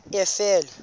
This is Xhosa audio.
efele